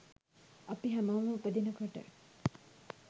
අපි හැමෝම උපදිනකොට